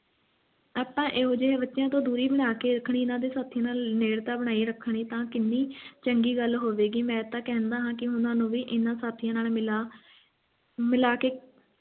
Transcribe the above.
ਆਪਾਂ ਇਹੋ ਜਿਹੇ ਬੱਚਿਆਂ ਤੋਂ ਦੂਰੀ ਬਣਾ ਕੇ ਰੱਖਣੀ ਜਿਨ੍ਹਾਂ ਦੇ ਸਾਥੀਆਂ ਨਾਲ ਨੇੜਤਾ ਬਣਾਈ ਰੱਖਣੀ ਤਾਂ ਕਿੰਨੀ ਚੰਗੀ ਗੱਲ ਹੋਵੇਗੀ ਮੈਂ ਤੇ ਕਹਿੰਦਾ ਹਾਂ ਉਨ੍ਹਾਂ ਨੂੰ ਵੀ ਉਨ੍ਹਾਂ ਸਾਥੀਆਂ ਨਾਲ ਮਿਲਾ ਮਿਲਾ ਕੇ